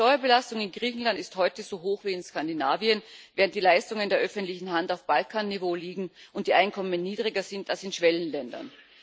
Die Steuerbelastung in Griechenland ist heute so hoch wie in Skandinavien, während die Leistungen der öffentlichen Hand auf Balkan Niveau liegen und die Einkommen niedriger sind als in Schwellenländern.